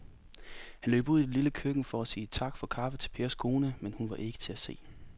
Han løb ud i det lille køkken for at sige tak for kaffe til Pers kone, men hun var ikke til at se.